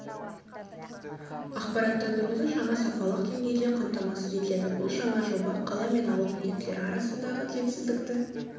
ақпараттандыруды жаңа сапалық деңгейде қамтамасыз етеді бұл жаңа жоба қала мен ауыл мектептері арасындағы теңсіздікті